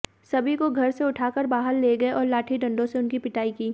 सभी को घर से उठाकर बाहर ले गए और लाठी डंडों से उनकी पिटाई की